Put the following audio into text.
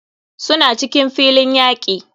Suna cikin filin yaki.